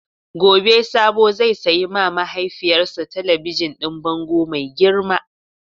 Gobe Sabo zai sayi ma mahaifiyarsa talabijin din bango mai girma.